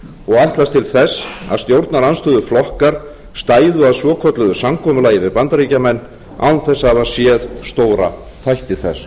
ætlast til þess að stjórnarandstöðuflokkar stæðu að svokölluðu samkomulagi við bandaríkjamenn án þess að hafa séð stóra þætti þess